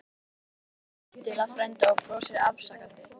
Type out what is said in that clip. Úlfur snýr sér aftur að frænda og brosir afsakandi.